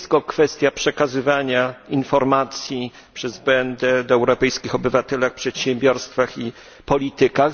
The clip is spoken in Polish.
Nie jest to tylko kwestia przekazywania informacji przez BND o europejskich obywatelach, przedsiębiorstwach i politykach.